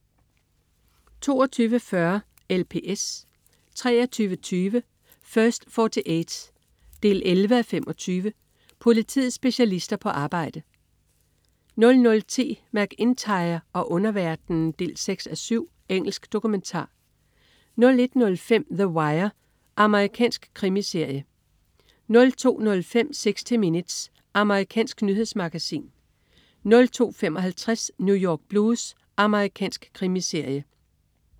22.40 LPS 23.20 First 48 11:25. Politiets specialister på arbejde 00.10 MacIntyre og underverdenen 6:7. Engelsk dokumentar 01.05 The Wire. Amerikansk krimiserie 02.05 60 Minutes. Amerikansk nyhedsmagasin 02.55 New York Blues. Amerikansk krimiserie